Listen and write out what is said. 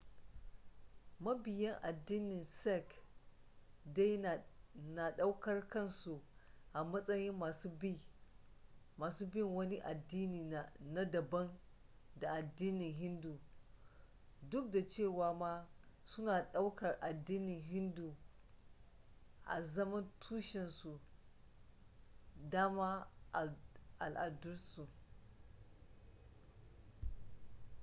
mabiya addinin sikh dai nadaukar kansu a matsayin masu bin wani addini na daban da addinin hindu duk da cewa ma suna daukar addinin hindun a zaman tushensu dama al'adarsu